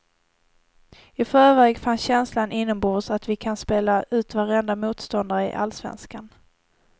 I förväg fanns känslan inombords att vi kan spela ut varenda motståndare i allsvenskan.